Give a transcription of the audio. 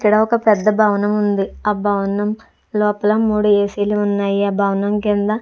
ఇక్కడ ఒక పెద్ద భవనం ఉంది ఆ భవనం లోపల మూడు ఏసి లు ఉన్నాయి. ఆ భవనం కింద--